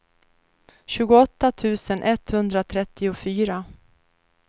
tjugoåtta tusen etthundratrettiofyra